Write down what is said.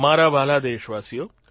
મારા વ્હાલા દેશવાસીઓ